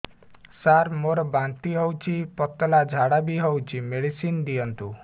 ସାର ମୋର ବାନ୍ତି ହଉଚି ପତଲା ଝାଡା ବି ହଉଚି ମେଡିସିନ ଦିଅନ୍ତୁ